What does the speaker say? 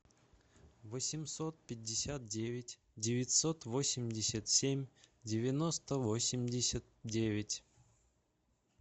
восемьсот пятьдесят девять девятьсот восемьдесят семь девяносто восемьдесят девять